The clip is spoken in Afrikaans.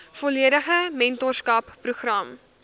volledige mentorskap program